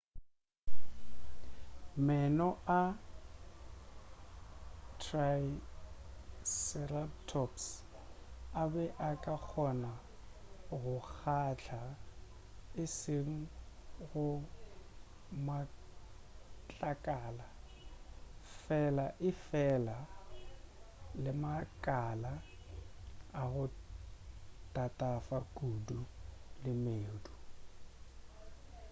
meno a triceratops a be a ka kgona go kgatla e seng go matlakala fela efela le makala a go tatafa kudu le medu